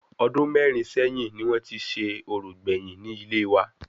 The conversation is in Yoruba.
Ọdún mẹ́rin sẹ́yìn ni wọn ti ṣe orò gbèyìn ni ilé wa